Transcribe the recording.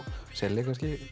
selja